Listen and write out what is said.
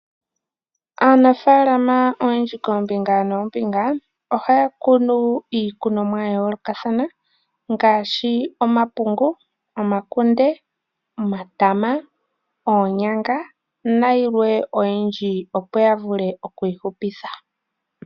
Aanafaalama oyendji ya za koombinga dha yoolokathana ohaya kunu iikunomwa yomaludhi gi ili no gi ili. Ohaya kunu ngaashi omapungu, omakunde, omatama ,oonyanga nayilwe oyindji opo ya vule oku ihupitha.